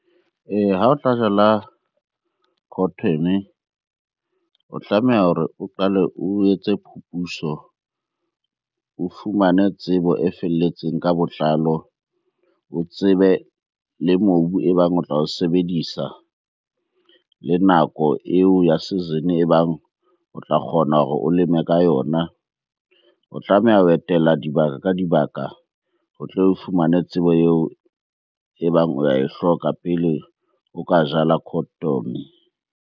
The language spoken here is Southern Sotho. Ee, ha o tla jala cotton-e o tlameha hore o qale o etse phupuso, o fumane tsebo e felletseng ka botlalo. O tsebe le mobu e bang o tla o sebedisa, le nako eo ya season-e e bang o tla kgona hore o leme ka yona. O tlameha ho etela dibaka ka dibaka o tlo o fumane tsebo eo e bang o ya e hloka pele o ka jala cotton-e.